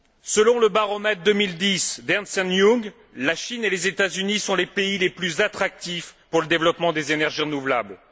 Selon le baromètre 2010 d'Ernst Young, la Chine et les États Unis sont les pays les plus attractifs pour le développement des énergies renouvelables.